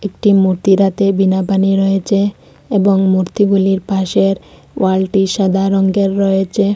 একটি মূর্তির হাতে বীণাপাণি রয়েছে এবং মূর্তিগুলির পাশের ওয়ালটি সাদা রঙের রয়েছে।